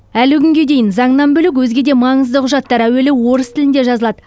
әлі күнге дейін заңнан бөлек өзге де маңызды құжаттар әуелі орыс тілінде жазылады